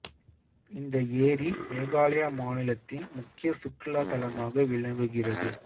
இந்த ஏரி மேகாலயா மாநிலத்தின் முக்கிய சுற்றுலா தலமாக விளங்குகிறது